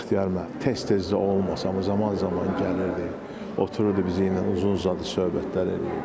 Bəxtiyar müəllim tez-tez də olmasa, zaman-zaman gəlirdi, otururdu bizimlə uzun-uzadı söhbətlər eləyirdi.